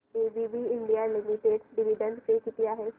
ABB India limited dividend pay किती आहे